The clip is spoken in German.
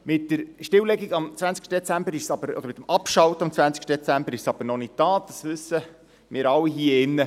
Mit der Abschaltung am 20. Dezember ist es aber noch nicht getan, das wissen wir alle hier drin.